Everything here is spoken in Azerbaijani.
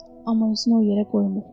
Amma özünü o yerə qoymur.